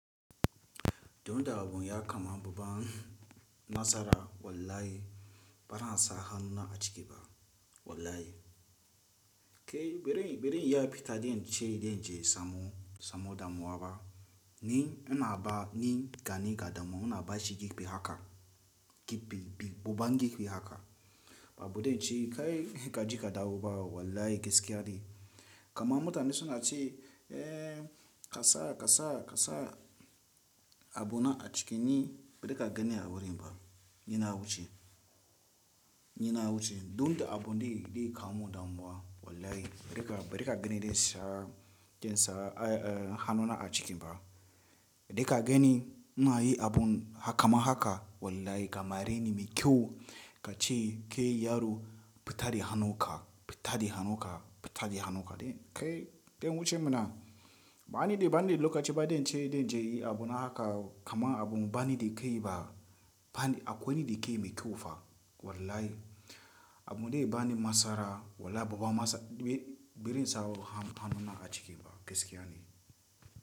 Dun da abun ya kama babban nasara wallahi bana sa hannuna a ciki ba wallahi. Ke birin, birin ya fita dan ce dan je samo, samo damuwa ba ni ina ba ni gani ga damo. Ina bashi gikbi haka gikbi, buban gikbi haka. Ba bude ce kai ka je ka dawo ba wallahi gaskiya ne. Kaman mutane suna ce, eh kasa, kasa, kasa abuna a ciki ni bari ka gani a wurin ba. Ni na wuce, ni na wuce. Dun da abun da ya kamu damuwa wallahi bari ka, bari ka gani dai sa jan sa hannuna a ciki ba. Bari ka gani ina yi abun kaman haka wallahi kamar in mai kyau ka ce ke yaro fita da hannunka, fita da hannunka, fita da hannunka. Kai, kai wuce mana. Ba ni dai, ba ni dai lokaci ba dan ce dan je yi abuna haka kama abun ba ni da kai ba. Ba a kwaini da ke mai kyau fa wallahi. Abun dai ba ni masara wallahi babban masa birin sa hannuna a ciki ba gaskiya ne.